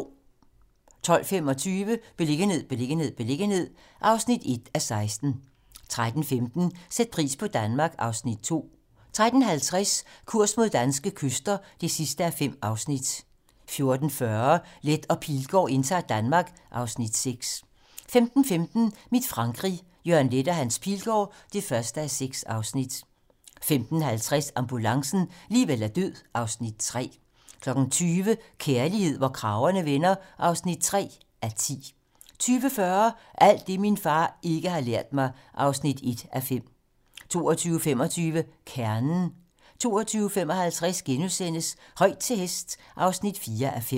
12:25: Beliggenhed, beliggenhed, beliggenhed (1:16) 13:15: Sæt pris på Danmark (Afs. 2) 13:50: Kurs mod danske kyster (5:5) 14:40: Leth og Pilgaard indtager Danmark (Afs. 6) 15:15: Mit Frankrig - Jørgen Leth og Hans Pilgaard (1:6) 15:50: Ambulancen - liv eller død (Afs. 3) 20:00: Kærlighed, hvor kragerne vender (3:10) 20:40: Alt det, min far ikke har lært mig (1:5) 22:25: Kernen 22:55: Højt til hest (4:5)*